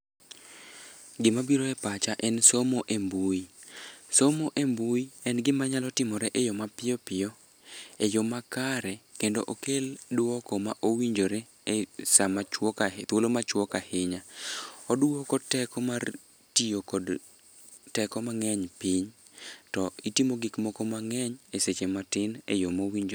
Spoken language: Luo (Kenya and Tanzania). Gimabiro e pacha en somo e mbui. Somo e mbui en gimanyalo timore e yo mapiyo piyo, e yo makare kendo okel duoko ma owinjore e thuolo machuok ahinya. Oduoko teko mar tiyo kod teko mang'eny piny, to itimo gikmoko mang'eny e seche matin e yo mowinjore.